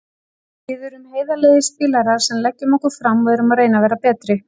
Við erum heiðarlegir spilarar sem leggjum okkur fram og erum að reyna að vera betri.